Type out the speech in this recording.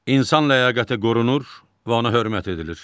İnsan ləyaqəti qorunur və ona hörmət edilir.